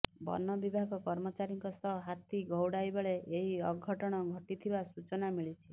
ବନ ବିଭାଗ କର୍ମଚାରୀଙ୍କ ସହ ହାତୀ ଘଉଡ଼ାଇବାବେଳେ ଏହି ଅଘଟଣ ଘଟିଥିବା ସୂଚନା ମିଳିଛି